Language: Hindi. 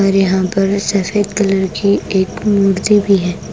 और यहाँ पे सफेद कलर की एक मूर्ति भी है।